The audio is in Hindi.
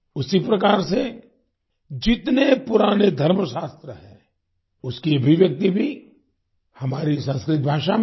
उसी प्रकार से जितने पुराने धर्मशास्त्र हैं उसकी अभिव्यक्ति भी हमारी संस्कृत भाषा में है